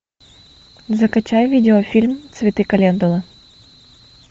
закачай видеофильм цветы календулы